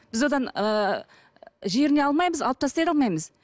біз одан ыыы жеріне алмаймыз алып тастай да алмаймыз